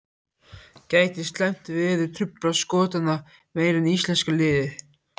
Gæti slæmt veður truflað Skotana meira en íslenska liðið?